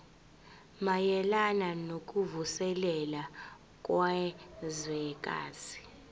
mayelana nokuvuselela kwezwekazi